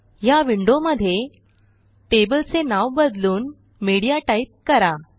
ह्या विंडोमध्ये टेबलचे नाव बदलून मीडिया टाईप करा